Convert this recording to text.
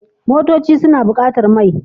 Motoci suna buƙatar mai.